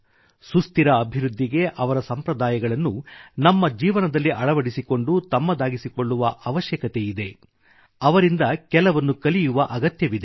ಸುಸ್ಥಿರ ಅಭಿವೃದ್ಧಿಗೆ ಅವರ ಸಂಪ್ರದಾಯಗಳನ್ನು ನಮ್ಮ ಜೀವನದಲ್ಲಿ ಅಳವಡಿಸಿಕೊಂಡು ತಮ್ಮದಾಗಿಸಿಕೊಳ್ಳುವ ಅವಶ್ಯಕತೆಯಿದೆ ಅವರಿಂದ ಕೆಲವನ್ನು ಕಲಿಯುವ ಅಗತ್ಯವಿದೆ